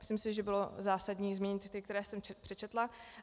Myslím si, že bylo zásadní zmínit ty, které jsem přečetla.